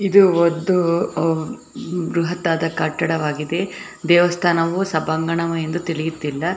ಇದು ಒಂದು ಬೃಹತ್ತಾದ ಕಟ್ಟಡವಾಗಿದೆ. ದೇವಸ್ಥಾನವು ಸಭಾಂಗಣ ಎಂದು ತಿಳಿಯುತ್ತಿಲ್ಲ .